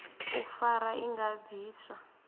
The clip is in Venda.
u fara i nga bviswa